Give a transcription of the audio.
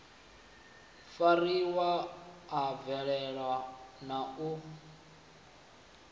fariwa a valelwa na u